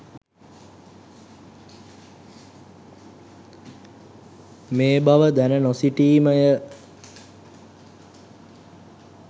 මේ බව දැන නොසිටීමය.